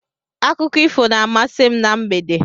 Akụkọ ifo na-amasị m na mgbede.